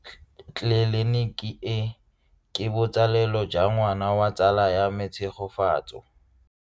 Tleliniki e, ke botsalelo jwa ngwana wa tsala ya me Tshegofatso.